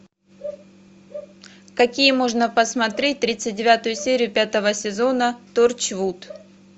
какие можно посмотреть тридцать девятую серию пятого сезона торчвуд